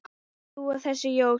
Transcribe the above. þú og þessi Jói?